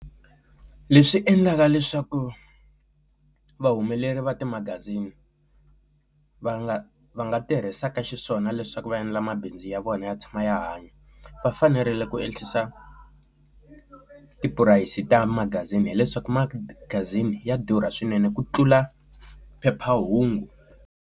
Leswi endlaka leswaku vahumeleri va timagazini va nga va nga tirhisaka xiswona leswaku va endla mabindzu ya vona ya tshama ya hanya va fanerile ku ehlisa tipurayisi ta magazini hileswaku magazini ya durha swinene ku tlula phephahungu.